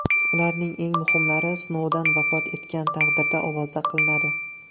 Ularning eng muhimlari Snouden vafot etgan taqdirda ovoza qilinadi.